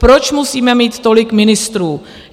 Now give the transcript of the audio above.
Proč musíme mít tolik ministrů?